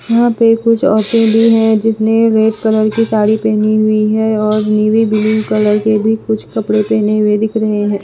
यहाँ पे कुछ औरतें भी हैं जिसने रेड कलर की साड़ी पहनी हुई है और नीवी ब्लू कलर के भी कुछ कपड़े पहने हुए दिख रहे हैं।